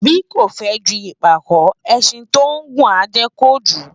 Bí kò fę ju ìpàkó, ęşin tí ó ngùn á ję kojū